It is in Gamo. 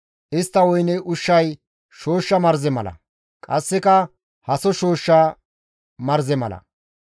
Istta woyne ushshay shooshsha marze mala; qasseka haso shooshsha marze mala.